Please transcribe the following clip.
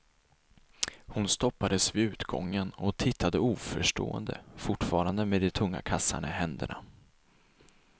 Hon stoppades vid utgången och tittade oförstående, fortfarande med de tunga kassarna i händerna.